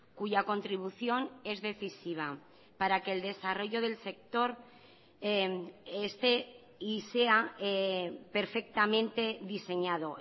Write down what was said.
cuya contribución es decisiva para que el desarrollo del sector esté y sea perfectamente diseñado